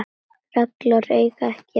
reglur eiga ekki við.